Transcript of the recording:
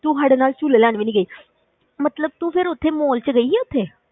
ਤੂੰ ਸਾਡੇ ਨਾਲ ਝੂਲੇ ਲੈਣ ਵੀ ਨੀ ਗਈ ਮਤਲਬ ਤੂੰ ਫਿਰ ਉੱਥੇ mall ਵਿੱਚ ਗਈ ਆਂ ਉੱਥੇ?